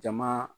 Jama